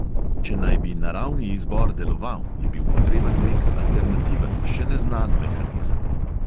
Če naj bi naravni izbor deloval, je bil potreben nek alternativen, še neznan mehanizem.